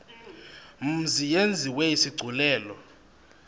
mzi yenziwe isigculelo